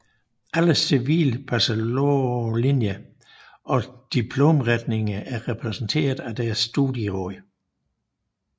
Alle civil bachelorlinjer og diplomretninger er repræsenteret af deres studieråd